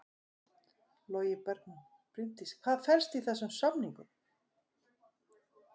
Logi Bergmann: Bryndís hvað felst í þessum samningum?